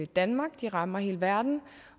danmark de rammer hele verden